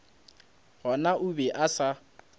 gona o be a sa